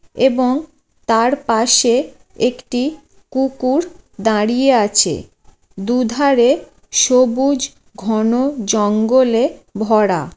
এবং তার পাশে একটি কুকুর দাঁড়িয়ে আছে | দুধারে সবুজ ঘন জঙ্গলে ভরা।